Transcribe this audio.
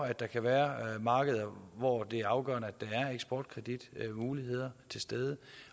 at der kan være markeder hvor det er afgørende at der er eksportkreditmuligheder til stede